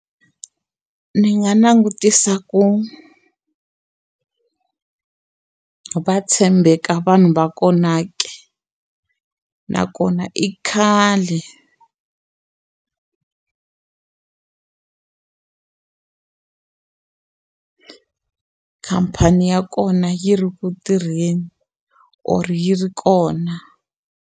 Ndzi nga langutisa ku va tshembeka vanhu va kona ke nakona i khale khampani ya kona yi ri ku tirheni or yi ri kona.